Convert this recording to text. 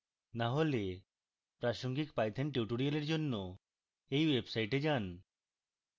না হলে প্রাসঙ্গিক python tutorials জন্য এই ওয়েবসাটে যান